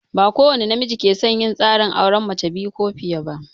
Ba kowani namiji ke son yin tsarin auren mace biyu ko fiye ba.